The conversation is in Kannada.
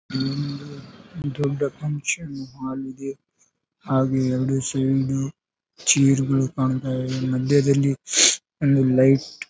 ಹ್ಮ್ ದೊಡ್ಡ ಫಂಕ್ಷನ್ ಹಾಲ್ ಇದೆ ಹಾಗೆ ಎರಡು ಸೈಡ್ ಚೇರ್ ಗಳು ಕಾಣ್ತಾ ಇವೆ ಮಧ್ಯದಲ್ಲಿ ಒಂದು ಲೈಟ್ .